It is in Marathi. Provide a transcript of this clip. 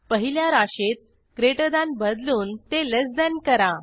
पहिल्या राशीत ग्रेटर थान बदलून ते लेस थान करा